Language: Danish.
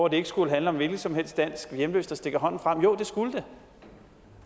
at det ikke skulle handle om en hvilken som helst dansk hjemløs der stikker hånden frem jo det skulle det